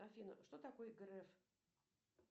афина что такое греф